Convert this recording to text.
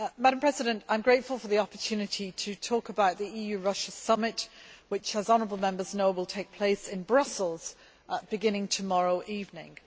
I am grateful for the opportunity to talk about the EU Russia Summit which, as honourable Members know, will take place in Brussels beginning tomorrow evening.